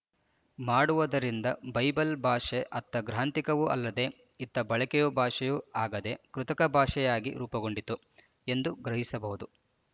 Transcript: ಮಾಡುವುದರಿಂದ ಬೈಬಲ್ ಭಾಷೆ ಅತ್ತ ಗ್ರಾಂಥಿಕವೂ ಅಲ್ಲದೆ ಇತ್ತ ಬಳಕೆಯ ಭಾಷೆಯೂ ಆಗದ ಕೃತಕಭಾಷೆಯಾಗಿ ರೂಪುಗೊಂಡಿತು ಎಂದು ಗ್ರಹಿಸಬಹುದು